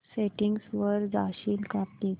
settings वर जाशील का प्लीज